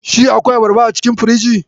Shi akwai abarba a cikin firinji?